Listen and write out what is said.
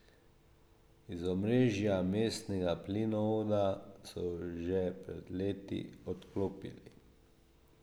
Iz omrežja mestnega plinovoda so ju že pred leti odklopili.